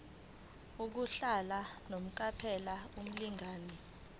yokuhlala unomphela kumlingani